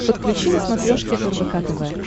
подключи на смотрешке рбк тв